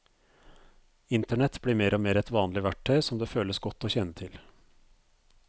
Internett blir mer og mer et vanlig verktøy som det føles godt å kjenne til.